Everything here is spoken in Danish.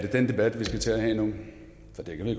den debat vi skal til at have nu